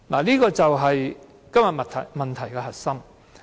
這就是今天問題的核心。